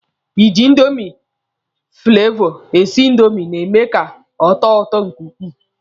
Ịjị indomi fụlevọ esi indomi na-eme ka ọ tọọ ụtọ nke ukwuu.